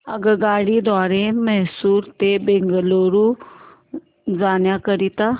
आगगाडी द्वारे मैसूर ते बंगळुरू जाण्या करीता